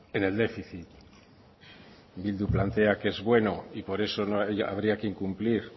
en el déficit bildu plantea que es bueno y por eso no habría que incumplir